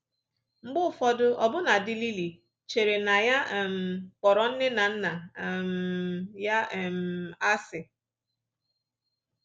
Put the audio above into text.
Mgbe ụfọdụ, ọbụna dị Lily chere na ya um kpọrọ nne na nna um ya um asị